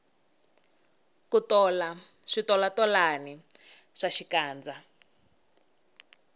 ku tola switolatolani swa xikandza